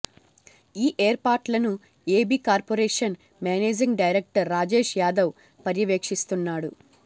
ఈ ఏర్పాట్లను AB corporation managing director Rajesh Yadav పర్యవేక్షిస్తున్నాడు